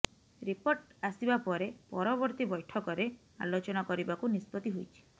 report ଆସିବା ପରେ ପରବର୍ତ୍ତୀ ବୈଠକରେ ଆଲୋଚନା କରିବାକୁ ନିଷ୍ପତ୍ତି ହୋଇଛି